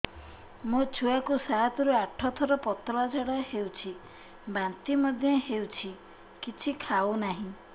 ମୋ ଛୁଆ କୁ ସାତ ରୁ ଆଠ ଥର ପତଳା ଝାଡା ହେଉଛି ବାନ୍ତି ମଧ୍ୟ୍ୟ ହେଉଛି କିଛି ଖାଉ ନାହିଁ